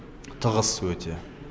тығыз өте